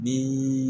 Ni